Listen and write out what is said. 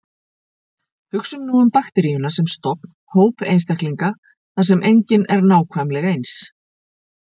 Hugsum nú um bakteríuna sem stofn, hóp einstaklinga þar sem enginn er nákvæmleg eins.